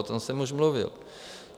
O tom jsem už mluvil.